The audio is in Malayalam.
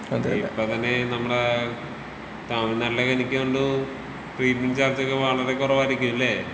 ഇപ്പൊ തന്നെ നമ്മടെ തമിഴ്നാട്ടിലൊക്കെ എനിക്ക് തോന്നുന്നു ട്രീറ്റ് മെന്റ് ചാർജൊക്കെ വളരെ കുറവായിരിക്കുമല്ലെ.